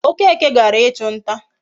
Okeke gara ichu nta